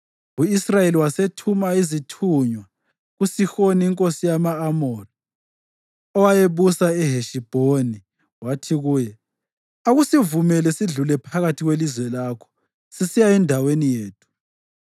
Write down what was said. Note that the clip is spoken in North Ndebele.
U-Israyeli wasethuma izithunywa kuSihoni inkosi yama-Amori, owayebusa eHeshibhoni, wathi kuye, ‘Akusivumele sidlule phakathi kwelizwe lakho sisiya endaweni yethu.’